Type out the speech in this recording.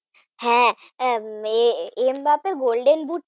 Mbappe Golden Boot